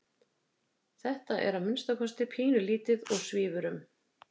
Þetta er að minnsta kosti pínulítið og svífur um.